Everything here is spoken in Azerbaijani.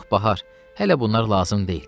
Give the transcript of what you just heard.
Yox, Bahar, hələ bunlar lazım deyil.